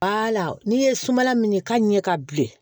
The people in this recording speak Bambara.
Bala n'i ye sumala minɛ ka ɲɛ ka bilen